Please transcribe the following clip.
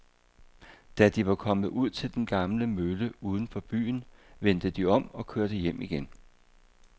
Da de var kommet ud til den gamle mølle uden for byen, vendte de om og kørte hjem igen.